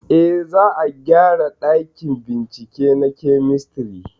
Eh, za a gyara ɗakin bincike na kemistri